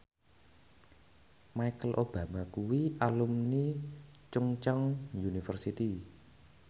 Michelle Obama kuwi alumni Chungceong University